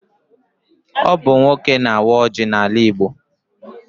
Ọ bụ nwoke na-awa ọjị n'ala Igbo.